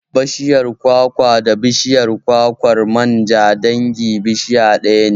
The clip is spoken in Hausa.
Bashiyar kwakwa da bishiyar kwakwar manja dangin bishiya ɗaya ne